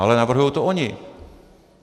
Ale navrhují to oni.